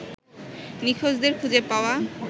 নিখোঁজদের খুঁজে পাওয়া